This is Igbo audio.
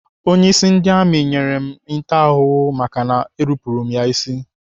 Onyeisi ndị amị nyere m ntaramahụhụ maka ị nupụrụ ya isi.